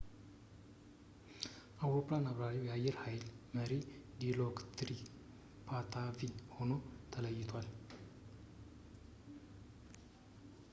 የአውሮፕላን አብራሪው የአየር ሀይል መሪ ዲሎክሪት ፓታቪ ሆኖ ተለይቷል